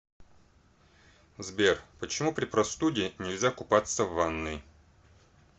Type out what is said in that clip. сбер почему при простуде нельзя купаться в ванной